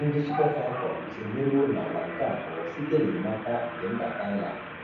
Ndị Super Falcons emeriwo n'agba nke abụọ site na enyemaka nke mba Thailand.